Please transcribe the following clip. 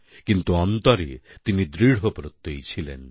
কিন্তু অন্তরে তিনি দৃঢ়প্রত্যয়ী ছিলেন